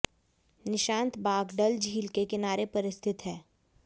निशांत बाग डल झील के किनारे पर स्थित है